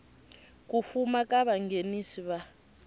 ku fuma ka vanghenisi va